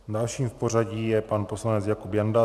Dalším v pořadí je pan poslanec Jakub Janda.